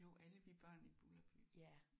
Jo Alle vi børn i Bulderby